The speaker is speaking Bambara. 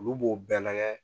Olu b'o bɛɛ lagɛ